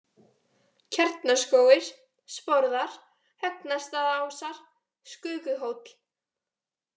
Kjarnaskógur, Sporðar, Högnastaðaásar, Skökuhóll